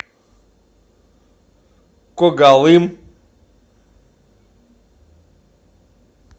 когалым